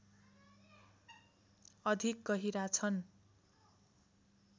अधिक गहिरा छन्